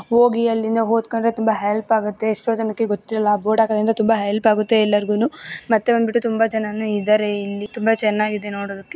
ಹೋಗಿ ಅಲ್ಲಿಂದ ಓದ್ಕೊಂದ್ರೆ ತುಂಬಾ ಹೆಲ್ಪ್ ಆಗುತ್ತೆ ಎಷ್ಟೋ ಜನಕ್ಕೆ ಗೊತ್ತಿರಲ್ಲ ಬೋರ್ಡ್ ಹಾಕಿರೋದ್ರಿಂದ ಹೆಲ್ಪ್ ಆಗುತ್ತೆ ಎಲ್ಲರಿಗೂನು ಮತ್ತೆ ಬಂದ್ಬಿಟ್ಟು ತುಂಬಾ ಜನನು ಇದಾರೆ ಇಲ್ಲಿ ತುಂಬಾ ಚೆನ್ನಾಗಿದೆ ನೋಡೋದಕ್ಕೆ .